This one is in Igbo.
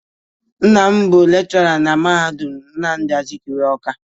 Nna m bụ lekshọra na Mahadu Nnamdị Azikiwe, Ọ́ká.